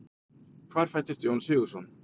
Hvar fæddist Jón Sigurðsson?